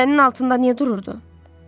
Pirələnin altında niyə dururdu?